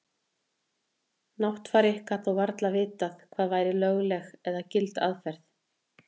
Náttfari gat þó varla vitað hvað væri lögleg eða gild aðferð.